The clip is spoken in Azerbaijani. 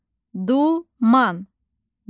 Duman, duman.